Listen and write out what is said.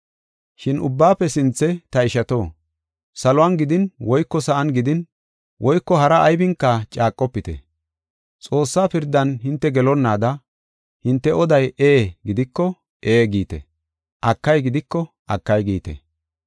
Shin ubbaafe sinthe, ta ishato, saluwan gidin woyko sa7an gidin woyko hara aybinka caaqofite. Xoossaa pirdan hinte gelonnaada hinte oday ee gidiko, “Ee” giite; akay gidiko, “Akay” giite.